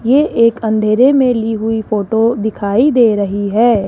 ये एक अंधेरे में ली हुई फोटो दिखाई दे रही है।